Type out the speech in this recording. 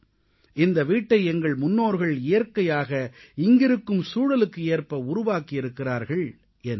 இந்த வீட்டை எங்கள் முன்னோர்கள் இயற்கையாக இங்கிருக்கும் சூழலுக்கு ஏற்ப உருவாக்கியிருக்கிறார்கள் என்றார்